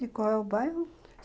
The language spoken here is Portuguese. E qual é o bairro?